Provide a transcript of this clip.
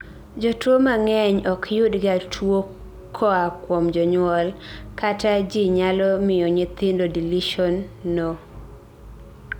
jotuwo mang'eny okyudga tuwo koa kuom jonyuol, kata ji nyalo miyo nyithindo deletion no